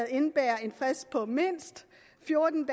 indebærer en frist på mindst fjorten